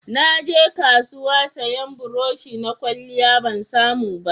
Na je kasuwa sayan burosh na kwalliya, ban samu ba